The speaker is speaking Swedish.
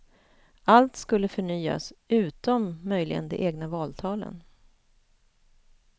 Allt skulle förnyas, utom möjligen de egna valtalen.